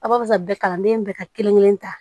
A b'a fɔ bɛɛ kalanden bɛɛ ka kelen kelen ta